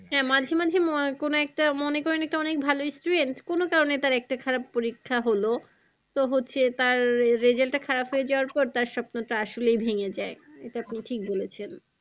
হ্যাঁ মাঝে মাঝে কোনো একটা মনে করেন একটা অনেক ভালো student কোনো কারণে তার একটা খারাপ পরিক্ষা হলো তো হচ্ছে তার result টা খারাপ হয়ে যাওয়ার পর তার স্বপ্নটা আসলেই ভেঙে যায় এটা আপনি ঠিক বলেছেন।